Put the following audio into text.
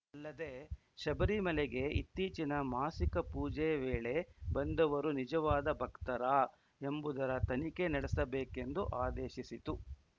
ಅಲ್ಲದೆ ಶಬರಿಮಲೆಗೆ ಇತ್ತೀಚಿನ ಮಾಸಿಕ ಪೂಜೆ ವೇಳೆ ಬಂದವರು ನಿಜವಾದ ಭಕ್ತರಾ ಎಂಬುದರ ತನಿಖೆ ನಡೆಸಬೇಕು ಎಂದೂ ಆದೇಶಿಸಿತು